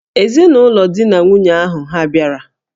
Ezinụlọ di na nwunye ahụ hà bịara?